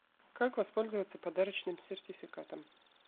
как воспользоваться подарочным сертификатом